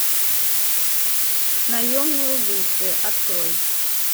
наемные убийцы открой